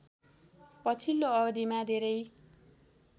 पछिल्लो अवधिमा धेरै